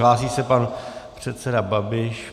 Hlásí se pan předseda Babiš.